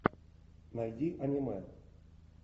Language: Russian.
найди аниме